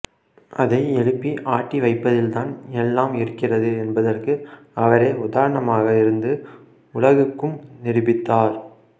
அதை எழுப்பி ஆட்டி வைப்பதில்தான் எல்லாம் இருக்கிறது என்பதற்கு அவரே உதாரணமாக இருந்து உலகுக்கும் நிரூபித்தார்